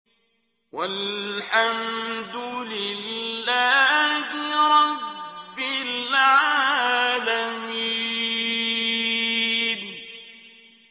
وَالْحَمْدُ لِلَّهِ رَبِّ الْعَالَمِينَ